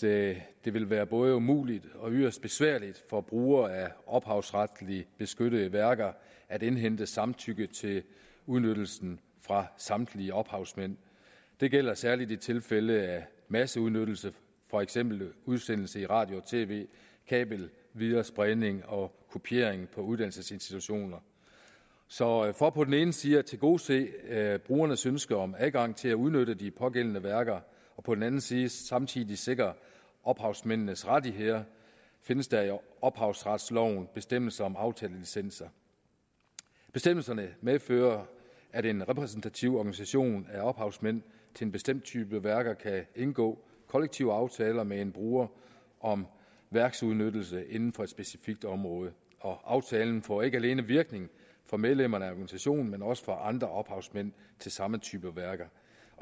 det det vil være både umuligt og yderst besværligt for brugere af ophavsretligt beskyttede værker at indhente samtykke til udnyttelsen fra samtlige ophavsmænd det gælder særlig i tilfælde af masseudnyttelse for eksempel udsendelse i radio og tv kabelviderespredning og kopiering på uddannelsesinstitutioner så for på den ene side at tilgodese brugernes ønske om adgang til at udnytte de pågældende værker og på den anden side samtidig at sikre ophavsmændenes rettigheder findes der i ophavsretsloven bestemmelser om aftalelicenser bestemmelserne medfører at en repræsentativ organisation af ophavsmænd til en bestemt type værker kan indgå kollektive aftaler med en bruger om værksudnyttelse inden for et specifikt område og aftalen får ikke alene virkning for medlemmerne af organisationen men også for andre ophavsmænd til samme type værker